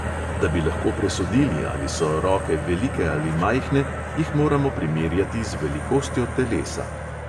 Da bi lahko presodili, ali so roke velike ali majhne, jih moramo primerjati z velikostjo telesa.